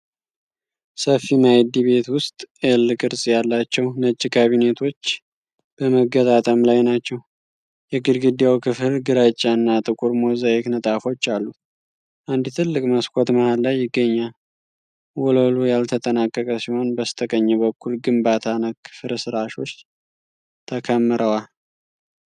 ሰፊ ማእድ ቤት ውስጥ ኤል-ቅርጽ ያላቸው ነጭ ካቢኔቶች በመገጣጠም ላይ ናቸው። የግድግዳው ክፍል ግራጫ እና ጥቁር ሞዛይክ ንጣፎች አሉት፣ አንድ ትልቅ መስኮት መሀል ላይ ይገኛል። ወለሉ ያልተጠናቀቀ ሲሆን፣ በስተቀኝ በኩል ግንባታ ነክ ፍርስራሾች ተከምረዋል።